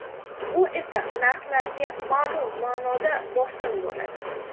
Bu esa narxlarga ma’lum ma’noda bosim bo‘ladi.